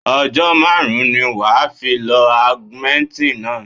Ọjọ́ márùn-ún ni wà á fi lọ Augmentin náà.